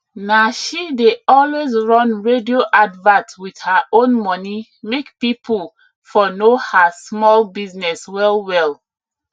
na she dey always run radio advert with her own money make people for know her small business well well